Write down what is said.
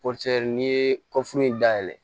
n'i ye kɔfuru in dayɛlɛ